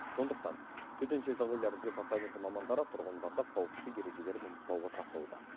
сондықтан төтенше жағдайлар департаменті мамандары тұрғындарды қауіпсіздік ережелерін ұмытпауға шақыруда